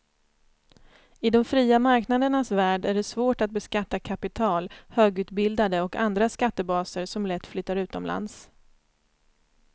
I de fria marknadernas värld är det svårt att beskatta kapital, högutbildade och andra skattebaser som lätt flyttar utomlands.